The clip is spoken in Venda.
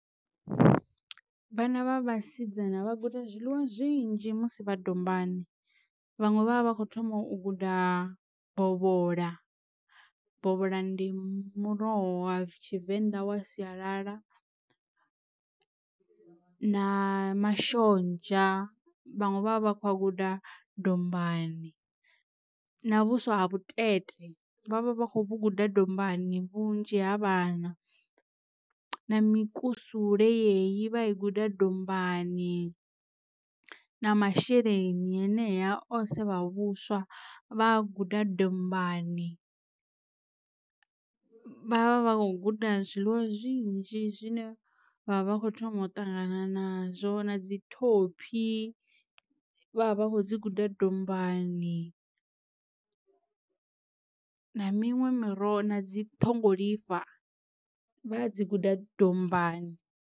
Vhana vha vhasidzana vha guda zwiḽiwa zwinzhi musi vha dombani, vhaṅwe vha vha vha kho thoma u guda bovhola, bovhola ndi muroho wa tshivenḓa wa sialala na mashonzha vhaṅwe vha vha vha kho a guda dombani na vhuswa ha vhutete vha vha vha khou guda dombani vhunzhi ha vhana, na mikusule ye i vha i guda dombani na masheleni henea o sevha vhuswa vha guda dombani vha vha vha kho guda zwiḽiwa zwinzhi zwine vha vha kho thoma u ṱangana nazwo. Na dzi thophi vha vha vha kho dzi guda dombani na miṅwe miroho na dzi ṱhongolifha vha dzi guda dombani.